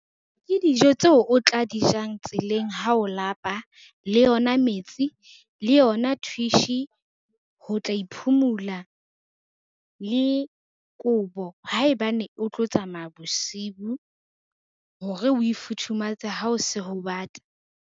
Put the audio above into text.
Ke dijo tseo o tla di jang tseleng ha o lapa, le yona metsi le yona thwishi ho tla e phumula, le kobo haebane o tlo tsamaya bosibu, hore o e futhumatse ha o se ho bata.